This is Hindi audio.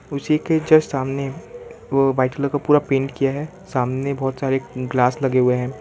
उसी के जस्ट सामने वो व्हाइट कलर का पूरा पेंट किया है सामने बहुत सारे ग्लास लगे हुए हैं।